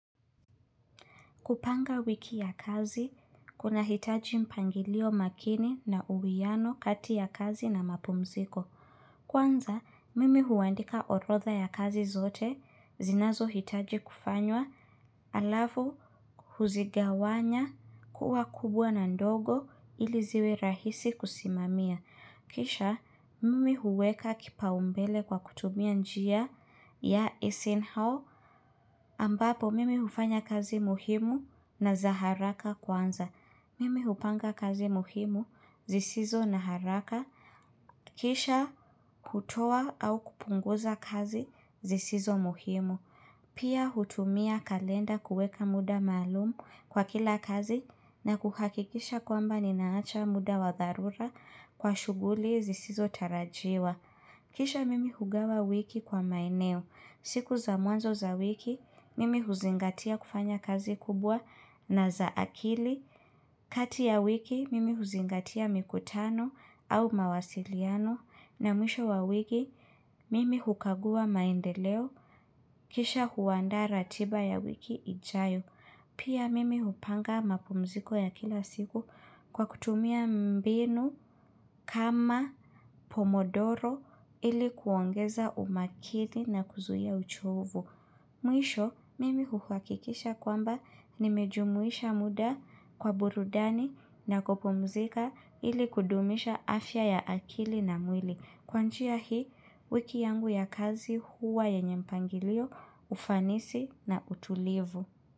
Kupanga wiki ya kazi, kunahitaji mpangilio makini na uwiano kati ya kazi na mapumziko. Kwanza, mimi huandika orodha ya kazi zote, zinazohitaji kufanywa, alafu huzigawanya kuwa kubwa na ndogo ili ziwe rahisi kusimamia. Kisha mimi huweka kipaumbele kwa kutumia njia ya EseinHower ambapo mimi hufanya kazi muhimu na za haraka kwanza. Mimi hupanga kazi muhimu zisizo na haraka. Kisha kutoa au kupunguza kazi zisizo muhimu. Pia hutumia kalenda kuweka muda maalum kwa kila kazi na kuhakikisha kwamba ninaacha muda wa dharura kwa shughuli zisizotarajiwa. Kisha mimi hugawa wiki kwa maineo. Siku za mwanzo za wiki, mimi huzingatia kufanya kazi kubwa na za akili. Kati ya wiki, mimi huzingatia mikutano au mawasiliano na mwisho wa wiki, mimi hukagua maendeleo. Kisha huandaa ratiba ya wiki ijayo. Pia mimi hupanga mapumziko ya kila siku kwa kutumia mbinu kama pomodoro ili kuongeza umakini na kuzuia uchovu. Mwisho, mimi huhakikisha kwamba nimejumuisha muda kwa burudani na kupumzika ili kudumisha afya ya akili na mwili. Kwa njia hii, wiki yangu ya kazi huwa yenye mpangilio, ufanisi na utulivu.